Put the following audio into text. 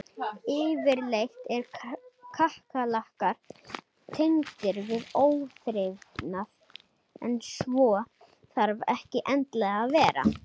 Yfirleitt eru kakkalakkar tengdir við óþrifnað en svo þarf ekki endilega að vera.